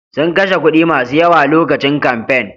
Sun kashe kuɗi masu yawa lokacin kamfen.